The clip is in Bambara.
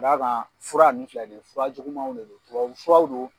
Ka da kan fura ninnu filɛ nin ye fura jugumaw de don tubabu furaw don